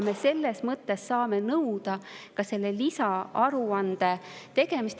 Selles mõttes me saame nõuda ka lisaaruande tegemist.